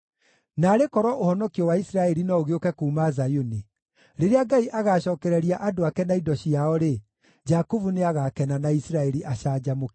Naarĩ korwo ũhonokio wa Isiraeli no ũgĩũke kuuma Zayuni! Rĩrĩa Ngai agacookereria andũ ake na indo ciao-rĩ, Jakubu nĩagakena na Isiraeli acanjamũke!